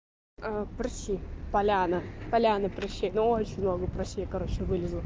а прыщи поляна поляна прыщи но очень много прыщей короче вылезло